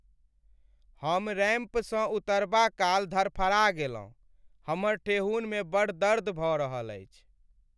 हम रैंपसँ उतरबा काल धरफरा गेलहुँ। हमर ठेहुनमे बड़ दर्द भऽ रहल अछि।